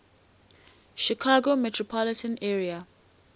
chicago metropolitan area